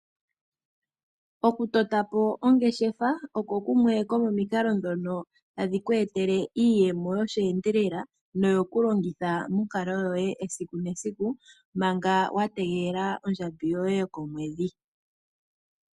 Okutotapo ongeshefa oko kumwe komomikalo dhono tadhi ku etele iiyemo yoshindelela no yo okulongitha monkalo yoye yesiku nesiku manga wa tegelela ondjambi yoye yo komwedhi.